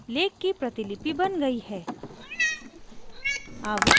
lake की प्रतिलिपि बन गयी है